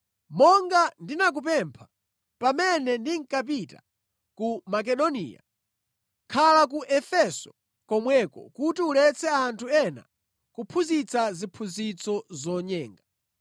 Monga ndinakupempha pamene ndinkapita ku Makedoniya, khala ku Efeso komweko kuti uletse anthu ena kuphunzitsa ziphunzitso zonyenga,